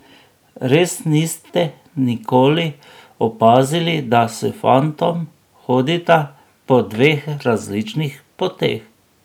Res niste nikoli opazili, da s fantom hodita po dveh različnih poteh?